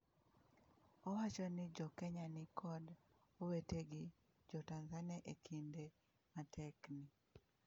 “Owacho ni jo Kenya ni kod “owetegi” jo Tanzania e kinde matek ni.”